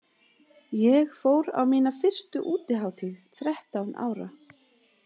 Ég fór á mína fyrstu útihátíð þrettán ára.